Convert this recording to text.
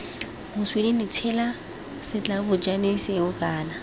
moswinini tshela setlabošane seo kana